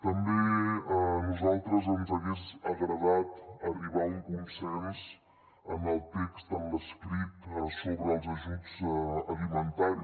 també a nosaltres ens hagués agradat arribar a un consens en el text en l’escrit sobre els ajuts alimentaris